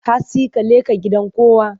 Hantsi ka leƙa gidan kowa!